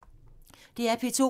DR P2